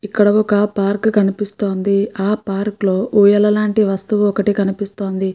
ఇక్కడ ఒక పార్క్ కనిపిస్తోంది. ఆ పార్క్ లో ఊయల లాంటి వస్తువు ఒకటి కనిపిస్తోంది.